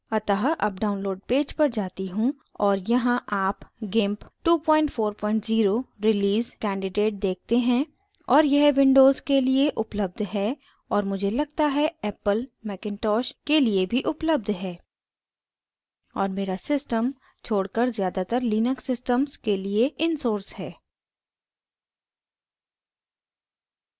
अतः अब download page पर जाती हूँ और यहाँ आप gimp 240 release कैंडिडेट देखते हैं और यह windows के लिए उपलब्ध है और मुझे लगता है apple macintosh के लिए भी उपलब्ध है और मेरा systems छोड़कर ज़्यातार linux systems के लिए इन source है